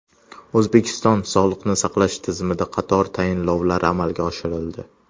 O‘zbekiston sog‘liqni saqlash tizimida qator tayinlovlar amalga oshirildi.